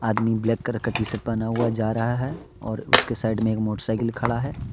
आदमी black colour का T shirt पहना हुआ जा रहा है और उसके साइड में एक मोटर साइकिल खड़ा है।